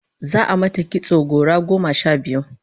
Za'a mata kitso gora goma sha biyu